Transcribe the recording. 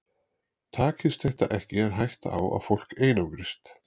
Takist þetta ekki er hætta á að fólk einangrist.